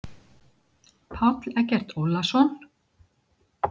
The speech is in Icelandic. Páll Eggert Ólason.